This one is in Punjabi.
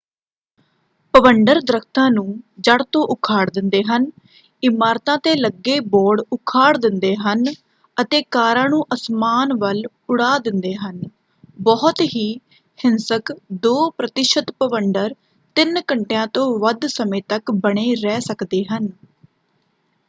ਭਵੰਡਰ ਦਰੱਖਤਾਂ ਨੂੰ ਜੜ੍ਹ ਤੋਂ ਉਖਾੜ ਦਿੰਦੇ ਹਨ ਇਮਾਰਤਾਂ ‘ਤੇ ਲੱਗੇ ਬੋਰਡ ਉਖਾੜ ਦਿੰਦੇ ਹਨ ਅਤੇ ਕਾਰਾਂ ਨੂੰ ਅਸਮਾਨ ਵੱਲ ਉੜਾ ਦਿੰਦੇ ਹਨ। ਬਹੁਤ ਹੀ ਹਿੰਸਕ ਦੋ ਪ੍ਰਤੀਸ਼ਤ ਭਵੰਡਰ ਤਿੰਨ ਘੰਟਿਆਂ ਤੋਂ ਵੱਧ ਸਮੇਂ ਤੱਕ ਬਣੇ ਰਹਿ ਸਕਦੇ ਹਨ।